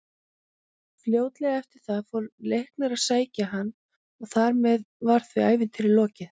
Fljótlega eftir það fór Leiknir að sækja hann og þar með var því ævintýri lokið.